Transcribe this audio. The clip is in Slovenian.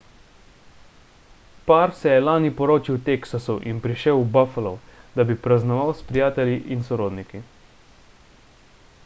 par se je lani poročil v teksasu in prišel v buffalo da bi praznoval s prijatelji in sorodniki